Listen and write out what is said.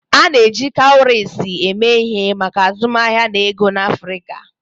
A na-eji kawurisi eme ihe maka azụmaahịa na ego n'Afrika.